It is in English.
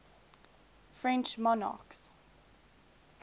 french monarchists